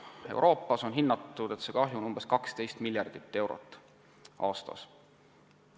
Euroopas on hinnatud, et kahju on umbes 12 miljardit eurot aastas.